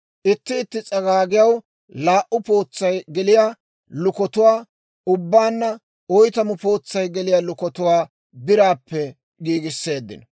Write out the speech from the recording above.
Itti itti s'agaagiyaw laa"u pootsay geliyaa lukatuwaa, ubbaanna oytamu pootsay geliyaa lukatuwaa biraappe giigiseeddino.